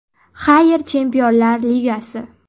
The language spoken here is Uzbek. Xayr, Chempionlar Ligasi.